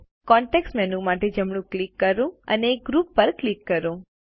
context menu માટે જમણું click કરો અને ગ્રુપ પર ક્લિક કરો